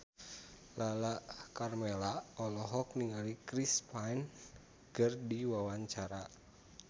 Lala Karmela olohok ningali Chris Pane keur diwawancara